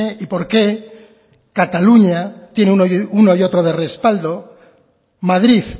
y porque cataluña tiene uno y otro de respaldo madrid